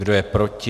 Kdo je proti?